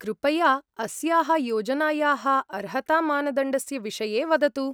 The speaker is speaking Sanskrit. कृपया अस्याः योजनायाः अर्हतामानदण्डस्य विषये वदतु।